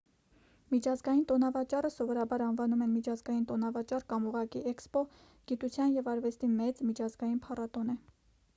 միջազգային տոնավաճառը սովորաբար անվանում են միջազգային տոնավաճառ կամ ուղղակի էքսպո գիտության և արվեստի մեծ միջազգային փառատոն է: